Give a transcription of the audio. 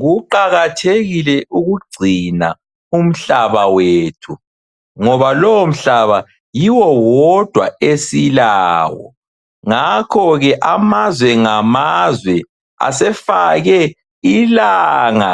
Kuqakathekile ukugcina umhlaba wethu ngoba lowomhlaba yiwowodwa esilawo. Ngakho ke amazwe ngamazwe asefake ilanga